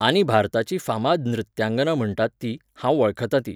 आनी भारताची फामाद नृत्यांगना म्हणटात ती, हांव वळखतां ती